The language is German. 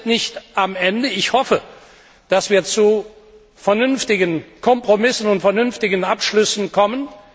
Wir sind nicht am Ende, aber ich hoffe, dass wir zu vernünftigen Kompromissen und vernünftigen Abschlüssen kommen.